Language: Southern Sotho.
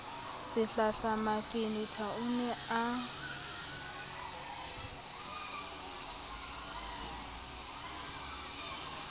sehlahla mafenetha o ne a